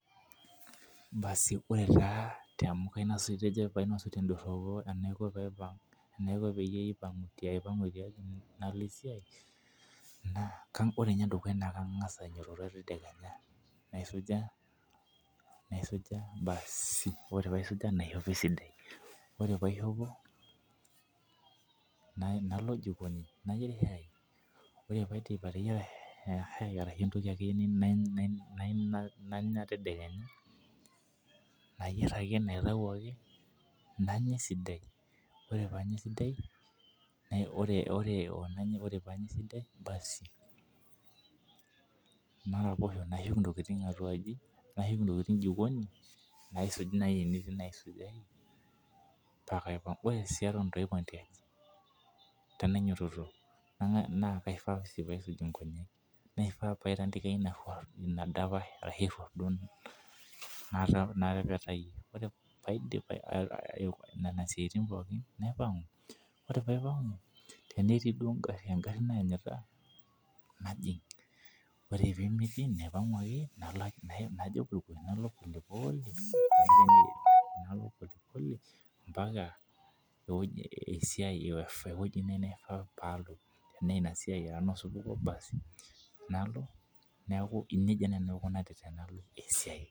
Ore enedukuya naa kangas ainyiototo tedekenya naisuja naishopo esidai oree pee aishopo nalo jikoni nayieri shai ore pidip ateyiara shai ashu entoki akeyie nayieu nanya tedekenya ayier naitayu ake nanya esidai ore pee Anya esidai ore paa Anya esidai naraposho nashuku entokitin jikoni naisuj najii tenetii naisujai paa kaipang ore sii Eton eitu aipang tiaki ena nyiototo naa kaifaa pee aisuj Nkonyek naifaa pee aitandika enadapash natepetayie ore pee aidip Nena siaitin pookin naipangu ore pee aipangu tenetii duo egari naranyita najig ore pee metii nalo polepole mbaka esiai ashu ewueji naifaa duo paa alo Tena enasiai nalo neeku nejia najii nanu aikunari Tenalo esiai